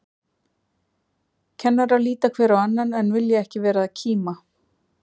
Kennarar líta hver á annan, en vilja ekki vera að kíma.